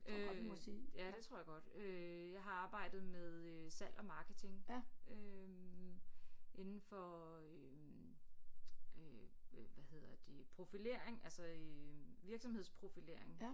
Øh ja det tror jeg godt øh jeg har arbejdet med øh salg og marketing øh inden for øh øh hvad hedder det profilering altså øh virksomhedsprofilering